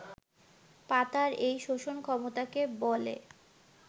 পাতার এই শোষণ ক্ষমতাকে বলে